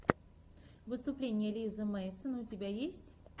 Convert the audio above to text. выступление лизы мэйсон у тебя есть